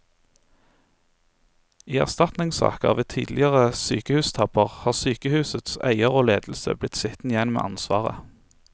I erstatningssaker ved tidligere sykehustabber har sykehusets eier og ledelse blitt sittende igjen med ansvaret.